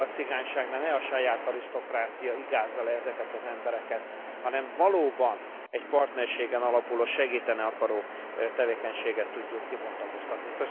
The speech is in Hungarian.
Például a cigányságnál ne a saját arisztokrácia igázza le ezeket az embereket, hanem valóban egy partnerségen alapuló, segíteni akaró tevékenységet tudjunk kibontakoztatni.